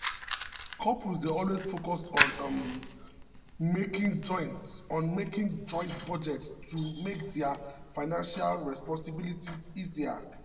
couples dey always focus um on making joint on making joint budget to make dia financial um responsibilities easier. um